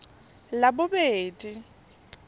labobedi